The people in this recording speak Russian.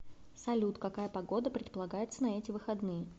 салют какая погода предполагается на эти выходные